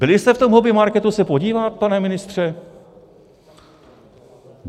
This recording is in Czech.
Byli jste v tom hobbymarketu se podívat, pane ministře?